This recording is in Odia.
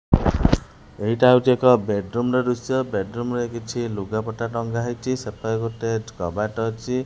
ଏଇଟା ହୋଉଚି ଏକ ବେଡ୍ ରୁମ୍ ର ଦୃଶ୍ୟ ବେଡ୍ ରୁମ୍ ରେ କିଛି ଲୁଗା ପଟା ଟଙ୍ଗା ହେଇଚି ସେପାଖେ ଗୋଟେ କବାଟ ଅଛି।